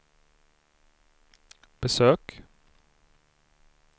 besök